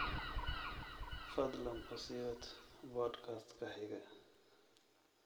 fadlan u sii wad podcast-ka xiga